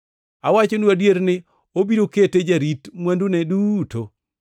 Awachonu adier ni, obiro kete jarit mwandune duto.